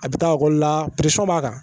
A bɛ taa la b'a kan